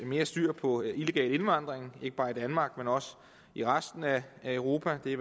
mere styr på illegal indvandring ikke bare i danmark men også i resten af europa det